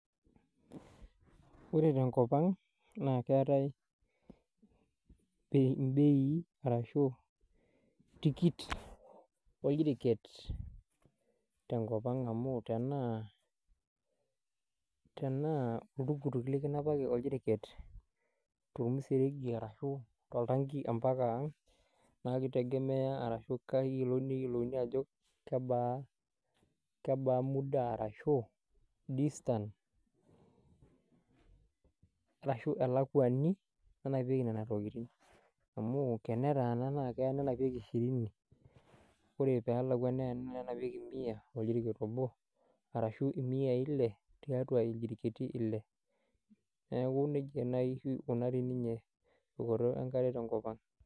Ore tenkopang naa keetae mbeei ashu tikit oljeriket tenkopang amu tenaa oltukutuk likinapaki oljeriket temseregi ashu toltanki mpaka ang, naa kitegemea, naa keyiolouni ajo kebaa muda arashu distance ashu elakwani nanapieki nena tokiting. Amu tenetaana naa keya nenapieki shirini, ore pee elakwa nenapieki miya oljeriket obo ashua miyai ile tiatua iljiriketi ile. Neeku nejia naaji eikunari ninye tumoto enkare tenkopang.